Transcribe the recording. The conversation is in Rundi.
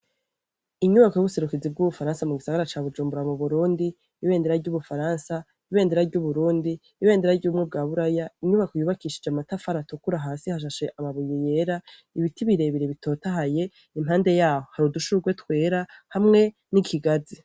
Inyubako y'ubuserukiza bw'ubufaransa mu gisagara ca Bujumbura mu Burundi, ibendera ry'ubufaransa, ibendera ry'uburundi, ibendera ry'ubumwe bwa Buraya, inyubako yubakishije amatafari atukura, hasi hashashe amabuye yera, ibiti birebire bitotahaye. Impande yaho, hari udushurwe twera, hamwe n'ikigazi.